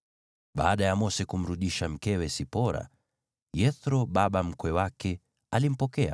Baada ya Mose kumrudisha mkewe Sipora, Yethro baba mkwe wake alimpokea